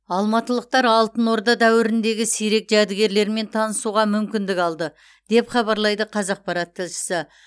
алматылықтар алтын орда дәуіріндегі сирек жәдігерлермен танысуға мүмкіндік алды деп хабарлайды қазақпарат тілшісі